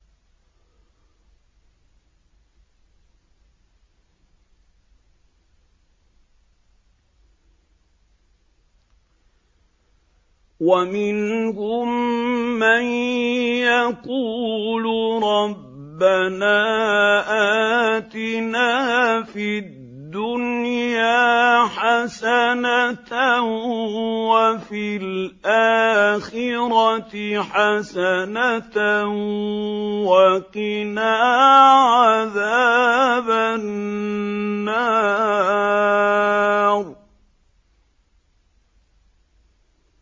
وَمِنْهُم مَّن يَقُولُ رَبَّنَا آتِنَا فِي الدُّنْيَا حَسَنَةً وَفِي الْآخِرَةِ حَسَنَةً وَقِنَا عَذَابَ النَّارِ